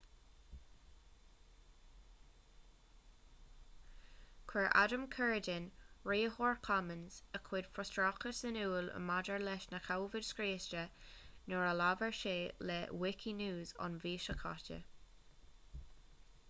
chuir adam cuerden riarthóir commons a chuid frustrachais in iúl maidir leis na comhaid scriosta nuair a labhair sé le wikinews an mhí seo caite